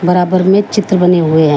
बराबर मे चित्र बने हुए हैं।